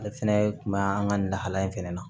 Ale fɛnɛ kun be an ka nin lahala in fɛnɛ na